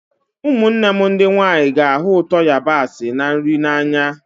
Ụmụnne m ndị nwanyị ga-ahụ ụtọ yabasị na nri n'anya